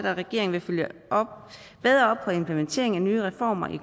at regeringen følger bedre op på kommunernes implementering af nye reformer